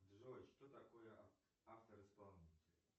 джой что такое автор исполнитель